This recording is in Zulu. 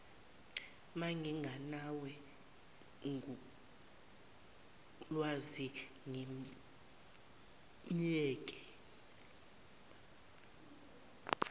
mangiganwe ngulwazi ngimyeke